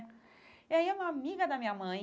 E aí, uma amiga da minha mãe,